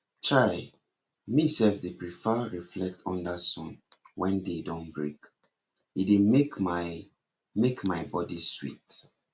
chai me self dey prefer reflect under sun wen day don break e dey make my make my body sweet